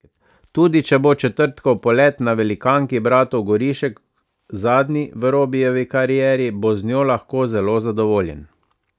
Tudi če bo četrtkov polet na velikanki bratov Gorišek zadnji v Robijevi karieri, bo z njo lahko zelo zadovoljen.